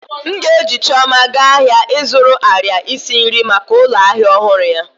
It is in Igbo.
M ga-eji chioma gaa ahịa ịzụrụ arịa isi nri maka ụlọ ahịa ọhụrụ ya